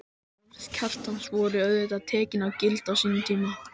Orð Kjartans voru auðvitað tekin gild á sínum tíma.